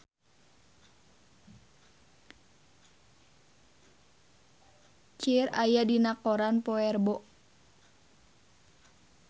Cher aya dina koran poe Rebo